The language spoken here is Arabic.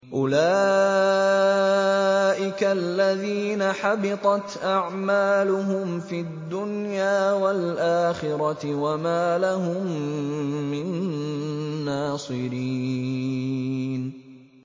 أُولَٰئِكَ الَّذِينَ حَبِطَتْ أَعْمَالُهُمْ فِي الدُّنْيَا وَالْآخِرَةِ وَمَا لَهُم مِّن نَّاصِرِينَ